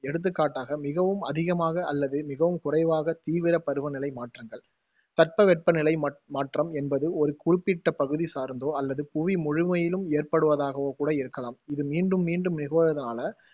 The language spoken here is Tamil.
எடுத்துக் காட்டாக, மிகவும் அதிகமாக அல்லது மிகவும் குறைவாக தீவிர பருவ நிலை மாற்றங்கள் தட்பவெப்ப நிலை ம~ மாற்றம் என்பது ஒரு குறிப்பிட்ட பகுதி சார்ந்தோ அல்லது புவி முழுமையிலும் ஏற்படுவதாகவோ கூட இருக்கலாம். இது மீண்டும் மீண்டும் நிகழ்வதால,